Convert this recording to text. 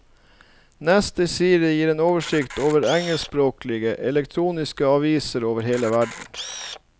Neste side gir en oversikt over engelskspråklige, elektroniske aviser over hele verden.